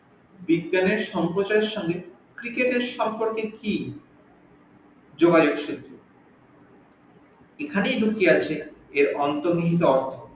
বিজ্ঞানের সম্প্রসারের সঙ্গে cricket এর সম্পর্কে কি এখানেই লুকিয়ে আছে এর অন্তর নিহিত অর্থ